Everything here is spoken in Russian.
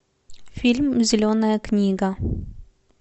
фильм зеленая книга